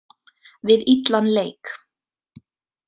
Við illan leik.